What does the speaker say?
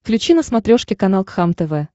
включи на смотрешке канал кхлм тв